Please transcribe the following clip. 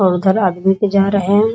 और उधर आदमी भी जा रहे हैं ।